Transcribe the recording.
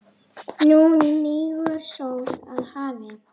Nú hnígur sól að hafi.